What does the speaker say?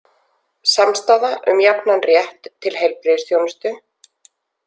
Samstaða um jafnan rétt til heilbrigðisþjónustu